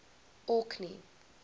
orkney